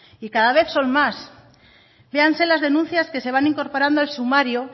y cada vez son más véanse las denuncias que se van incorporando al sumario